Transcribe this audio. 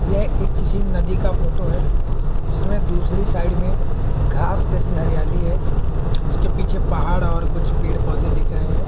यह एक किसी नदी का फोटो है जिसमें दूसरी साइड में घास जैसी हरियाली है उसके पीछे पहाड़ और कुछ पेड़ पौधे दिख रहे हैं।